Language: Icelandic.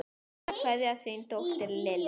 Hinsta kveðja, þín dóttir, Lilja.